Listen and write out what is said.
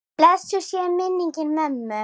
Blessuð sé minning mömmu.